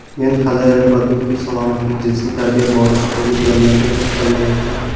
Men hali reproduktiv salomatlik, jinsiy tarbiya borasidagi bilimlarga to‘xtalmayapman.